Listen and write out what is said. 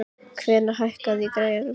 Hvannar, hækkaðu í græjunum.